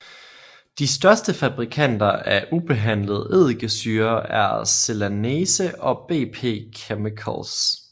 De største fabrikanter af ubehandlet eddikesyre er Celanese og BP Chemicals